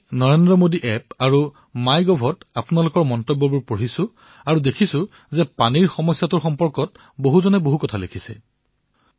মই নৰেন্দ্ৰ মোদী এপ আৰু মাই গভত আপোনালোকৰ মন্তব্য পঢ়ি আছিলো আৰু মই দেখিলো যে পানীৰ সমস্যাৰ বিষয়ে বহু লোকে বহু কথা লিখিছে